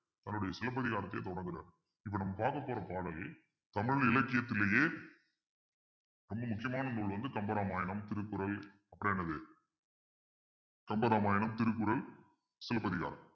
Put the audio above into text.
தன்னுடைய சிலப்பதிகாரத்தையே தொடங்கறாரு இப்ப நம்ம பார்க்கப் போற பாடலை தமிழ் இலக்கியத்திலேயே ரொம்ப முக்கியமான நூல் வந்து கம்பராமாயணம் திருக்குறள் அப்புறம் என்னது கம்பராமாயணம் திருக்குறள் சிலப்பதிகாரம்